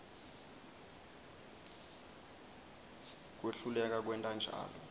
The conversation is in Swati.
kwehluleka kwenta njalo